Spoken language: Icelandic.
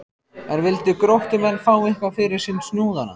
En vildu Gróttumenn fá eitthvað fyrir sinn snúð þarna?